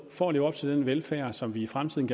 for at leve op til den velfærd som vi i fremtiden